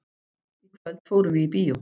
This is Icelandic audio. Í kvöld fórum við í bíó.